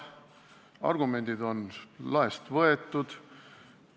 Argumendid on laest võetud.